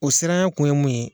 O siranya kun ye mun ye ?